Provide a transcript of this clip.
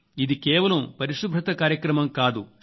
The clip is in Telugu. ఇది కేవలం పరిశుభ్రత కార్యక్రమం కాదు